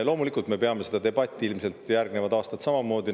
Loomulikult me peame seda debatti ilmselt järgnevad aastad samamoodi.